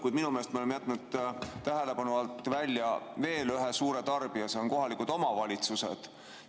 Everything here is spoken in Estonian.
Kuid minu meelest me oleme jätnud tähelepanu alt välja veel ühe suure tarbija, kohalikud omavalitsused.